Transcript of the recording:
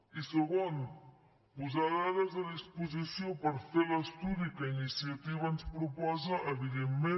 i segon posar dades a disposició per fer l’estudi que iniciativa ens proposa evidentment